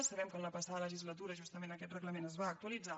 sabem que en la passada legislatura justament aquest reglament es va actualitzar